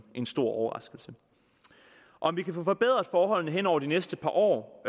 en stor overraskelse om vi kan få forbedret forholdene hen over de næste par år